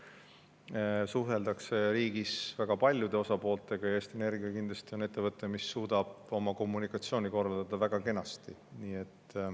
Riigis suheldakse väga paljude osapooltega ja Eesti Energia kindlasti on ettevõte, mis suudab oma kommunikatsiooni korraldada väga kenasti.